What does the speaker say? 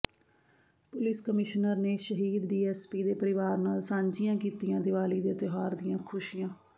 police commissioner ਨੇ ਸ਼ਹੀਦ DSP ਦੇ ਪਰਿਵਾਰ ਨਾਲ ਸਾਂਝੀਆਂ ਕੀਤੀਆਂ ਦੀਵਾਲੀ ਦੇ ਤਿਉਹਾਰ ਦੀਆਂ ਖੁਸ਼ੀਆਂ